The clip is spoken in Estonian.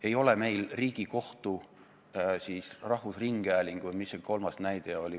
Ei ole meil Riigikohtu, rahvusringhäälingu ega – mis see kolmas näide oli?